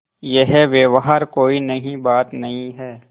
यह व्यवहार कोई नई बात नहीं है